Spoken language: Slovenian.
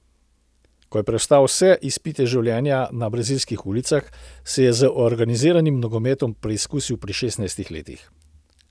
Ko je prestal vse izpite življenja na brazilskih ulicah, se je z organiziranim nogometom preizkusil pri šestnajstih letih.